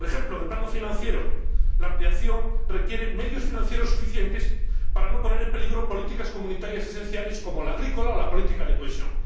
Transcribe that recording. Por ejemplo, en el plano financiero, la ampliación requiere medios financieros suficientes para no poner en peligro políticas comunitarias esenciales como la política agrícola o la política de cohesión.